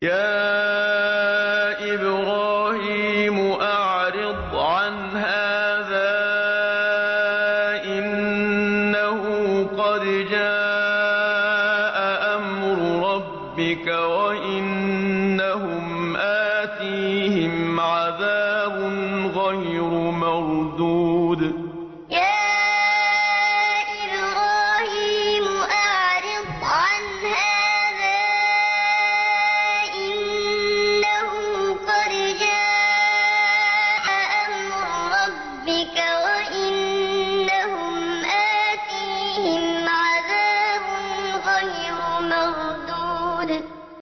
يَا إِبْرَاهِيمُ أَعْرِضْ عَنْ هَٰذَا ۖ إِنَّهُ قَدْ جَاءَ أَمْرُ رَبِّكَ ۖ وَإِنَّهُمْ آتِيهِمْ عَذَابٌ غَيْرُ مَرْدُودٍ يَا إِبْرَاهِيمُ أَعْرِضْ عَنْ هَٰذَا ۖ إِنَّهُ قَدْ جَاءَ أَمْرُ رَبِّكَ ۖ وَإِنَّهُمْ آتِيهِمْ عَذَابٌ غَيْرُ مَرْدُودٍ